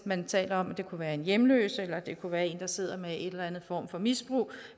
man taler om det kunne være en hjemløs eller det kunne være en der sidder med en eller anden form for misbrug